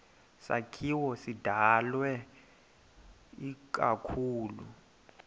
sakhiwo sidalwe ikakhulu